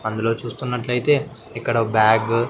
అందులో చూస్తున్నట్లయితే ఇక్కడ ఒక బ్యాగ్ .